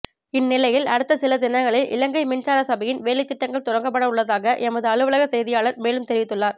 இந்நிலையில் அடுத்த சில தினங்களில் இலங்கை மின்சார சபையின் வேலைத்திட்டங்கள் தொடங்கப்படவுள்ளதாக எமது அலுவலக செய்தியாளர் மேலும் தெரிவித்துள்ளார்